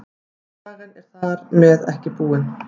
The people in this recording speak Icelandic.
Sagan er ekki þar með búin.